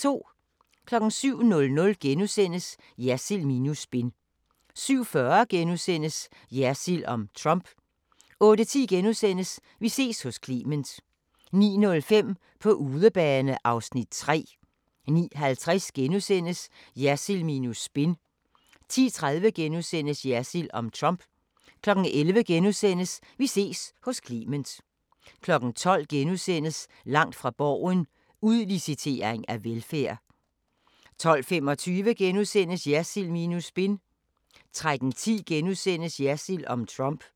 07:00: Jersild minus spin * 07:40: Jersild om Trump * 08:10: Vi ses hos Clement * 09:05: På udebane (Afs. 3) 09:50: Jersild minus spin * 10:30: Jersild om Trump * 11:00: Vi ses hos Clement * 12:00: Langt fra Borgen: Udlicitering af velfærd * 12:25: Jersild minus spin * 13:10: Jersild om Trump *